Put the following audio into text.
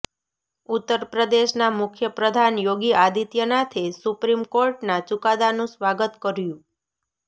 ઉત્તરપ્રદેશના મુખ્યપ્રધાન યોગી આદિત્યનાથે સુપ્રીમ કોર્ટના ચુકાદાનું સ્વાગત કર્યું